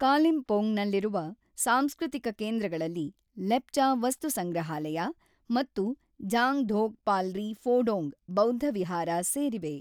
ಕಾಲಿಂಪೋಂಗ್‌ನಲ್ಲಿರುವ ಸಾಂಸ್ಕೃತಿಕ ಕೇಂದ್ರಗಳಲ್ಲಿ ಲೆಪ್ಚಾ ವಸ್ತುಸಂಗ್ರಹಾಲಯ ಮತ್ತು ಜ಼ಾಂಗ್ ಧೋಕ್ ಪಾಲ್ರಿ ಫೋಡೋಂಗ್ ಬೌದ್ಧವಿಹಾರ ಸೇರಿವೆ.